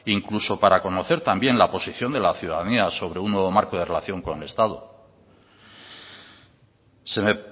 incluso para conocer también la posición de la ciudanía sobre un nuevo marco de relación con el estado se me